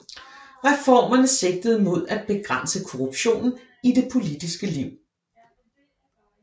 Reformerne sigtede mod at begrænse korruptionen i det politiske liv